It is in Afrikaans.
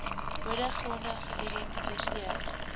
bode gronde geïdentifiseer